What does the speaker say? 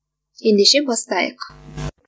ендеше бастайық